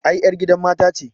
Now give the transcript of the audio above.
Ai ƴar gidan mata ce